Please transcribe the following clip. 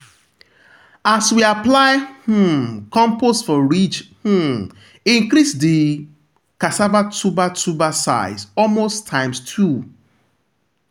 as we apply um compost for ridge um e increase the cassava tuber tuber size almost times two.